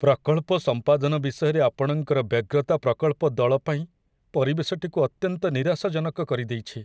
ପ୍ରକଳ୍ପ ସମ୍ପାଦନ ବିଷୟରେ ଆପଣଙ୍କର ବ୍ୟଗ୍ରତା ପ୍ରକଳ୍ପ ଦଳ ପାଇଁ ପରିବେଶଟିକୁ ଅତ୍ୟନ୍ତ ନିରାଶାଜନକ କରିଦେଇଛି।